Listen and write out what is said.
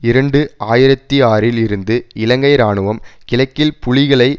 இரண்டு ஆயிரத்தி ஆறில் இருந்து இலங்கை இராணுவம் கிழக்கில் புலிகளை